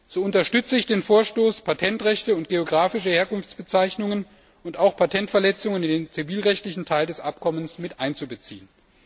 So unterstütze ich den Vorstoß, Patentrechte und geografische Herkunftsbezeichnungen und auch Patentverletzungen in den zivilrechtlichen Teil des Abkommens miteinzubeziehen.